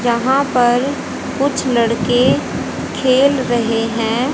जहां पर कुछ लड़के खेल रहे हैं।